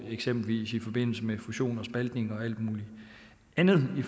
eksempelvis i forbindelse med fusioner og spaltninger og alt muligt andet i